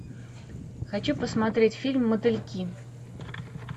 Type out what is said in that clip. хочу посмотреть фильм мотыльки